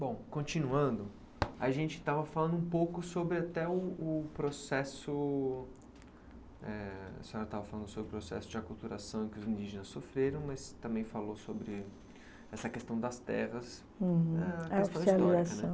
Bom, continuando, a gente estava falando um pouco sobre até o o processo, eh a senhora estava falando sobre o processo de aculturação que os indígenas sofreram, mas também falou sobre essa questão das terras